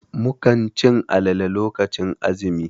Mukan cin alale lokacin azumi.